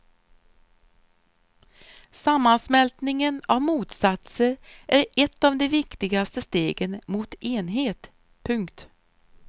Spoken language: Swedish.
Sammansmältningen av motsatser är ett av de viktigare stegen mot enhet. punkt